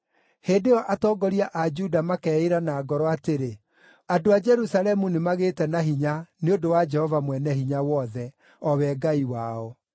Hĩndĩ ĩyo atongoria a Juda makeĩĩra na ngoro atĩrĩ, ‘Andũ a Jerusalemu nĩmagĩte na hinya nĩ ũndũ wa Jehova Mwene-Hinya-Wothe, o we Ngai wao.’